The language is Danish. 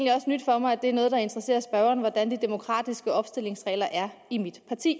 nyt for mig at det er noget der interesserer spørgeren hvordan de demokratiske opstillingsregler er i mit parti